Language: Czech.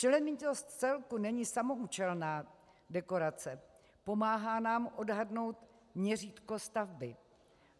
Členitost celku není samoúčelná dekorace, pomáhá nám odhadnout měřítko stavby.